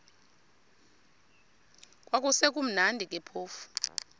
kwakusekumnandi ke phofu